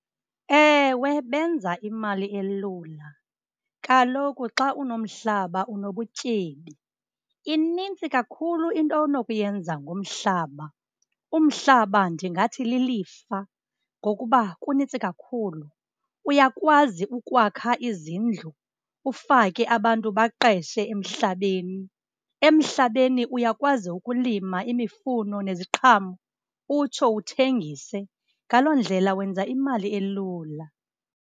Ewe benza imali elula, kaloku xa unomhlaba unobutyebi. Inintsi kakhulu into onokuyenza ngomhlaba, umhlaba ndingathi lilifa ngokuba kunintsi kakhulu. Uyakwazi ukwakha izindlu ufake abantu baqeshe emhlabeni. Emhlabeni uyakwazi ukulima imifuno neziqhamo utsho uthengise, ngaloo ndlela wenza imali elula.